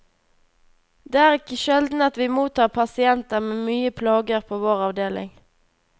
Det er ikke sjelden at vi mottar pasienter med mye plager på vår avdeling.